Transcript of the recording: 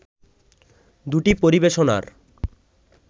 দুটি পরিবেশনার